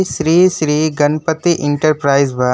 Shri Shri Ganpati enterprise बा।